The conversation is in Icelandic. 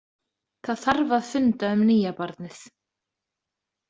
Það þarf að funda um nýja barnið.